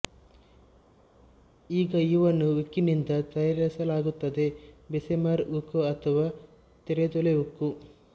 ಈಗ ಇವನ್ನು ಉಕ್ಕಿನಿಂದ ತಯಾರಿಸಲಾಗುತ್ತದೆ ಬೆಸೆಮರ್ ಉಕ್ಕು ಅಥವಾ ತೆರೆದೊಲೆ ಉಕ್ಕು